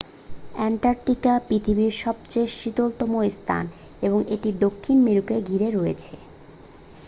Antarctica পৃথিবীর সবচেয়ে শীতলতম স্থান এবং এটি দক্ষিণ মেরুকে ঘিরে রয়েছে